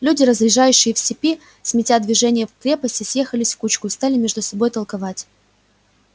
люди разъезжающие в степи заметя движение в крепости съехались в кучку и стали между собою толковать